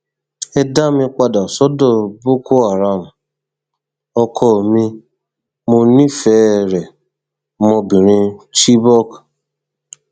ẹ dá mi padà sọdọ bokoharam ọkọ mi mo nífẹẹ rẹ ọmọbìnrin chibok